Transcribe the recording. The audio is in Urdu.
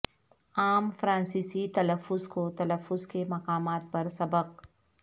عام فرانسیسی تلفظ کو تلفظ کے مقامات پر سبق